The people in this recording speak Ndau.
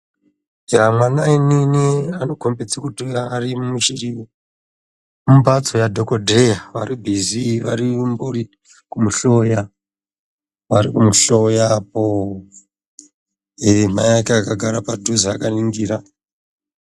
Mwana munini vari kukhomba kuti vari mumphatso ya dhokodheya, vari bhizii vari kumuhloya, varikumuhloya apooo, eeh mai ake akagara padhuze akaningira.